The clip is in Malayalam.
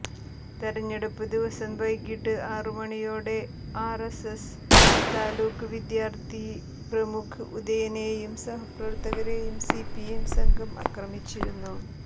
തെരഞ്ഞെടുപ്പ് ദിവസം വൈകിട്ട് ആറുമണിയോടെ ആര്എസ്എസ് താലൂക്ക് വിദ്യാര്ത്ഥി പ്രമുഖ് ഉദയനെയും സഹപ്രവര്ത്തകരെയും സിപിഎം സംഘം അക്രമിച്ചിരുന്നു